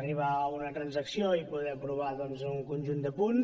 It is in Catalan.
arribar a una transacció i poder aprovar un conjunt de punts